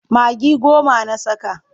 Magi goma na saka.